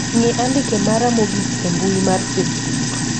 ng'i andike mara mogik e mbui mar facebook